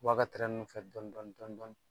a ka tɛrɛ nun fɛ dɔni dɔni dɔni dɔni.